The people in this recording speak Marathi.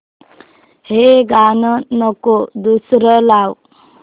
हे गाणं नको दुसरं लाव